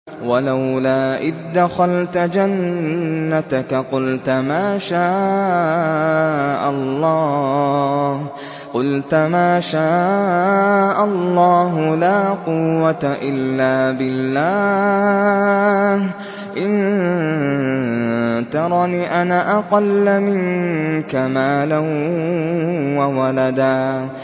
وَلَوْلَا إِذْ دَخَلْتَ جَنَّتَكَ قُلْتَ مَا شَاءَ اللَّهُ لَا قُوَّةَ إِلَّا بِاللَّهِ ۚ إِن تَرَنِ أَنَا أَقَلَّ مِنكَ مَالًا وَوَلَدًا